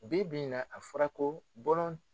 Bi bi in na a fɔra ko bɔlɔn